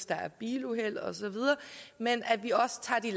der er biluheld osv men at vi også tager de